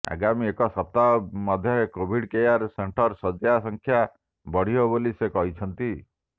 ଆଗାମୀ ଏକ ସପ୍ତାହ ମଧ୍ୟରେ କୋଭିଡ କେୟାର ସେଂଟର ଶଯ୍ୟା ସଂଖ୍ୟା ବଢ଼ିବ ବୋଲି ସେ କହିଛନ୍ତି